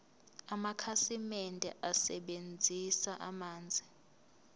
amakhasimende asebenzisa amanzi